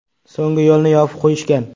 So‘ng yo‘lni yopib qo‘yishgan.